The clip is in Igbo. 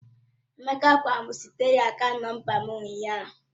Emeka gwara m zitere ya akaant nọmba m ụnyaahụ.